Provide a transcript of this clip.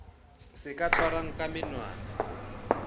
se ka tshwarwang ka menwana